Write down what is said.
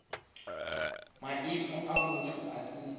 maimo a mutsho a si